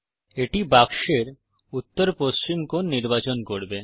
এটি বাক্সের উত্তর পশ্চিম কোণ নির্বাচন করবে